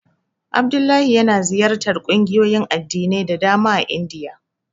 Abdullahi yana ziyartar ƙungiyoyin addinai da dama a Indiya.